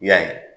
I y'a ye